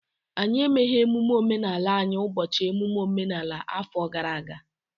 Anyị emeghị emume omenala anyị ụbọchị emume omenala afọ gara aga